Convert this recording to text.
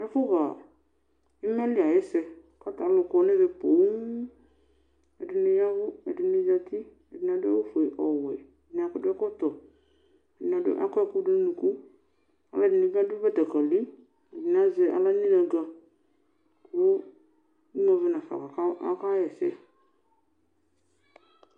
Ɛfʋxa imali ayʋ ɛsɛ kʋ ta alʋ kɔnʋ ɛmɛ poo, ɛdini ya ɛvʋ, ɛdini zati, ɛdini adʋ awʋfue, ɔwɛ ɛdɩnɩ adʋ ɛkɔtɔ, ɛdɩnɩ akɔ ɛkʋdʋnʋ ʋnʋkʋ,, alʋɛdinibi adʋ batakali, alʋɛdini azɛ aɣla nʋ inaga kʋ emʋ avɛ nafa akaxa ɛsɛ.